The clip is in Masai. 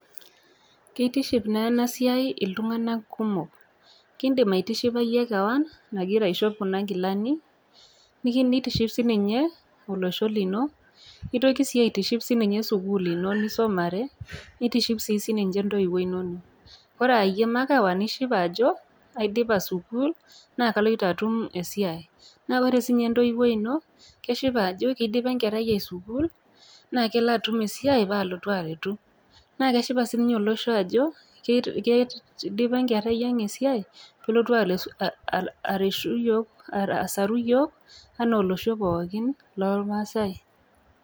Keitiship naa ena siai iltung'ana kumok, kindimaitishipa iyie kewan, nagira aishop Kuna kilani, neitiship sii ninye olosho lino, neitoki sii aitiship siininye sukuul ino nisumare, neitiship sii ninye intoiwo inono. Ore aa iyie makewan ishipa ajo aidipa sukuul naa aloito atum esiai, naa ore sii ninye entoiwoi ino, keshipa ajo keidipa enkerai ai sukuul, naa kelo atum esiai naalotu aretu, naa keshipa sii ninye olosho ajo keidipa enkerai yiang esiai asaru iyiok anaa olosho pookin loolmaasai.